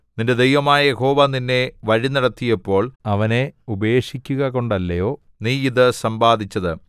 നിന്റെ ദൈവമായ യഹോവ നിന്നെ വഴിനടത്തിയപ്പോൾ അവനെ ഉപേക്ഷിക്കുകകൊണ്ടല്ലയോ നീ ഇതു സമ്പാദിച്ചത്